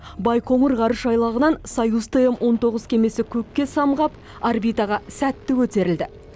байқоңыр ғарыш айлағынан союз тм он тоғыз кемесі көкке самғап орбитаға сәтті көтерілді